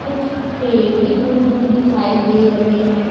कुछ पेड़ भी दूर दूर दिखाई दे रहे हैं।